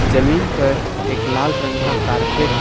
जमीन पर एक लाल रंग का कारपेट --